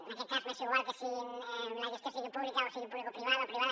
en aquest cas m’és igual que la gestió sigui pública o sigui publicoprivada o privada